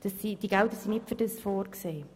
Diese Gelder sind nicht dafür vorgesehen.